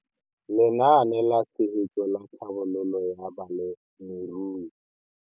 Lenaane la Tshegetso le Tlhabololo ya Balemirui.